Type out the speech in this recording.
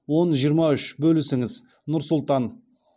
он жиырма үш бөлісіңіз нұр сұлтан